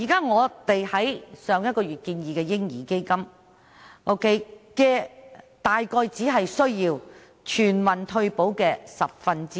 我們在上個月建議的"嬰兒基金"所需的資金約為全民退休保障的十分之一。